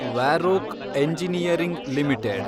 Varroc engineering limited